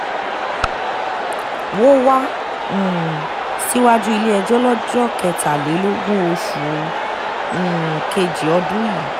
wọ́ wá um síwájú ilé-ẹjọ́ lọ́jọ́ kẹtàlélógún oṣù um kejì ọdún yìí